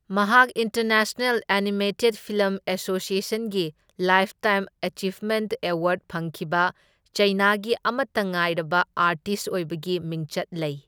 ꯃꯍꯥꯛ international animated film ꯑꯦꯁꯣꯁꯤꯑꯦꯁꯟꯗꯒꯤ lifetime achievement award ꯐꯪꯈꯤꯕ ꯆꯥꯏꯅꯥꯒꯤ ꯑꯃꯠꯇ ꯉꯥꯏꯔꯕ ꯑꯥꯔꯇꯤꯁꯠ ꯑꯣꯏꯕꯒꯤ ꯃꯤꯡꯆꯠ ꯂꯩ꯫